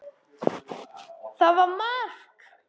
Það var mark.